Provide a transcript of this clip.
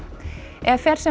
ef fer sem